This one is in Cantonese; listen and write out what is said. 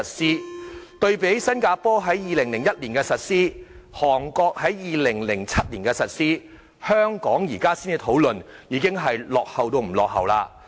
相對於新加坡在2001年實施，韓國在2007年實施，香港現在才討論，已經落後了很多。